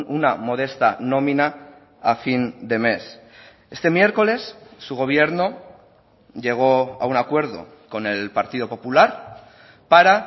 una modesta nómina a fin de mes este miércoles su gobierno llegó a un acuerdo con el partido popular para